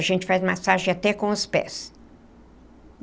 A gente faz massagem até com os pés.